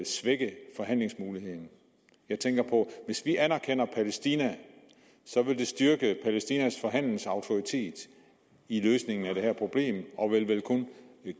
svække forhandlingsmuligheden jeg tænker på at hvis vi anerkender palæstina vil det styrke palæstinas forhandlingsautoritet i løsningen af det her problem og vil vel kun